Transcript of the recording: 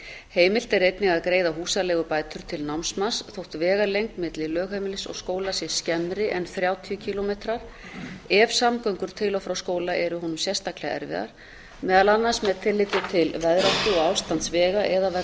heimilt er einnig að greiða húsaleigubætur til námsmanns þótt vegalengd milli lögheimilis og skóla sé skemmri en þrjátíu kílómetrar ef samgöngur til og frá skóla eru honum sérstaklega erfiðar meðal annars með tilliti til veðráttu og ástands vega eða vegna skorts á almenningssamgöngum